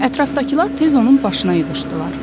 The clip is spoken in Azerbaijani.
Ətrafdakılar tez onun başına yığışdılar.